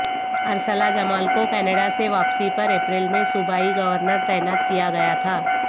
Ursula Jamal کو Canada سے واپسی پر اپریل میں صوبائی گورنر تعینات کیا گیا تھا